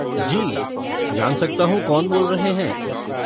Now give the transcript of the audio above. जी, जान सकता हूँ कौन बोल रहे हैं?